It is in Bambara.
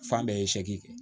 Fan bɛɛ ye kɛ